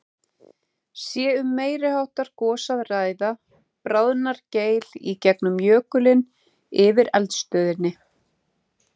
Sé um meiri háttar gos að ræða, bráðnar geil í gegnum jökulinn yfir eldstöðinni.